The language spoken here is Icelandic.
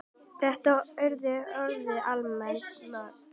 Þetta eru orðin allmörg ár.